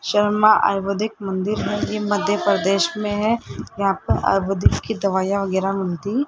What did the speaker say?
शर्मा आयुर्वेदिक मंदिर है ये मध्य प्रदेश में है यहां पे आयुर्वेदिक की दवाइयां वगैरह मिलती --